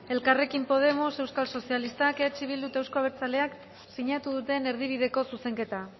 elkarrekin podemos euskal sozialistak eh bildu eta euskal abertzaleak sinatu duten erdibideko zuzenketa